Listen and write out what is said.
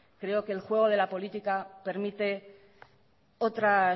creo que el juego de la política permite otras